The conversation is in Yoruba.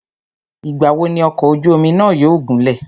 Ìgbà wo ni ọ̀kọ̀ ojú omi náà yóò gúnlẹ̀?